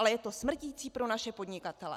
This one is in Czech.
Ale je to smrtící pro naše podnikatele.